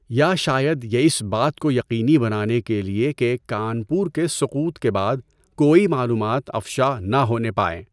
یا شاید یہ اس بات کو یقینی بنانے کے لیے کہ کانپور کے سقوط کے بعد کوئی معلومات افشاء نہ ہونے پائیں۔